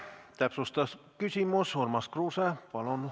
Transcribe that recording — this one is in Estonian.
Täpsustav küsimus, Urmas Kruuse, palun!